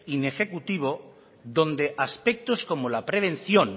inejecutivo donde aspectos como la prevención